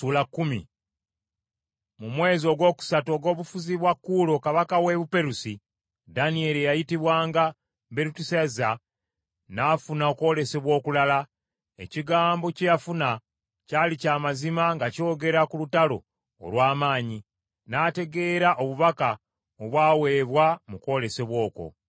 Mu mwaka ogwokusatu ogw’obufuzi bwa Kuulo kabaka w’e Buperusi, Danyeri eyayitibwanga Berutesazza n’afuna okwolesebwa okulala. Ekigambo kye yafuna kyali kya mazima nga kyogera ku lutalo olw’amaanyi. N’ategeera obubaka obwamuweebwa mu kwolesebwa okwo.